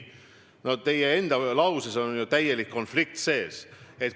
No teie enda lauses on ju täielik konflikt sees!